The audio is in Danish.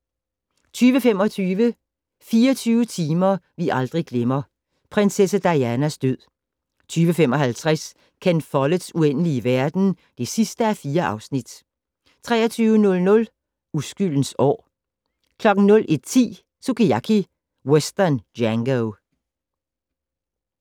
20:25: 24 timer vi aldrig glemmer - prinsesse Dianas død 20:55: Ken Folletts Uendelige verden (4:4) 23:00: Uskyldens år 01:10: Sukiyaki Western Django